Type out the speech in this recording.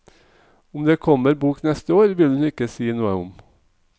Om det kommer bok neste år, vil hun ikke si noe om.